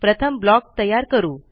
प्रथमblock तयार करू